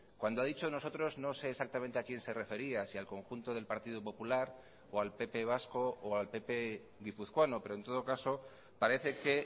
cuando ha dicho nosotros no sé exactamente a quién se refería si al conjunto del partido popular o al pp vasco o al pp guipuzcoano pero en todo caso parece que